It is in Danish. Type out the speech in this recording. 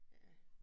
Ja